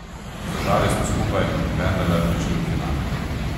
Zdržali smo skupaj in vendarle prišli v finale.